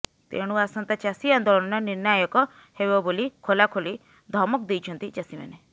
ତେଣୁ ଆସନ୍ତା ଚାଷୀ ଆନ୍ଦୋଳନ ନିର୍ଣ୍ଣାୟକ ହେବ ବୋଲି ଖୋଲାଖୋଲି ଧମକ ଦେଇଛନ୍ତି ଚାଷୀମାନେ